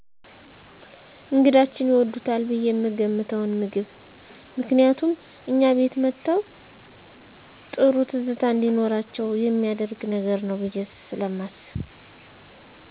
እነግዳችን ይወዱታል ብየ የምገምተዉን ምግብ ምክንያቱም እኛ ቤት መተዉ ጥሩ ትዝታ እንዲኖራቸዉ የሚያደርግ ነገር ነዉ ብየ ስለማስብ